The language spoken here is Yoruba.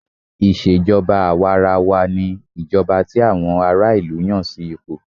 Ìṣèjọba àwàrawa ní ìjọba tí àwọn ará ìlú Yàn sí ipò.